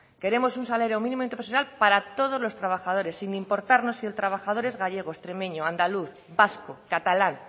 queremos un salario mínimo interprofesional para todos los trabajadores sin importarnos si el trabajador es gallego extremeño andaluz vasco catalán